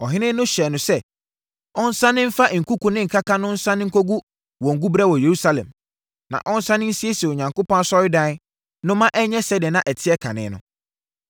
Ɔhene no hyɛɛ no sɛ, ɔnsane mfa nkuku ne nkaka no nsane nkɔgu wɔn guberɛ wɔ Yerusalem, na ɔnsane nsiesie Onyankopɔn asɔredan no ma ɛnyɛ sɛdeɛ na ɛteɛ kane no.